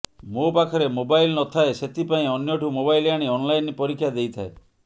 ମୋ ପାଖରେ ମୋବାଇଲ ନଥାଏ ସେଥିପାଇଁ ଅନ୍ୟଠୁ ମୋବାଇଲ ଆଣି ଅନଲାଇନ୍ ପରୀକ୍ଷା ଦେଇଥାଏ